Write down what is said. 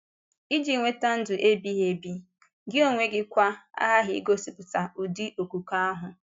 Ịji nweta ndụ ebighị ebi, gị onwe gị kwa, aghaghị igosipụta ụdị okwùkwè ahụ.